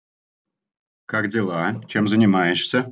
как дела чем занимаешь